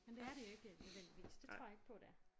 Men det er det ikke nødvendigvis det tror jeg ikke på det er